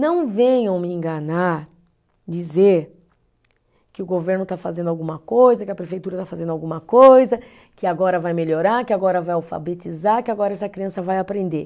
Não venham me enganar, dizer que o governo está fazendo alguma coisa, que a prefeitura está fazendo alguma coisa, que agora vai melhorar, que agora vai alfabetizar, que agora essa criança vai aprender.